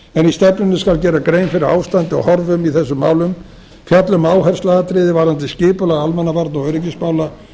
stefnunni skal gera grein fyrir ástandi og horfum í þessum málum fjalla um áhersluatriði varðandi skipulag almannavarna og öryggismála